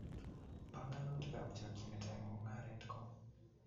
Panganutikab chokchinet eng mungaret ko